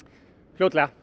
fljótlega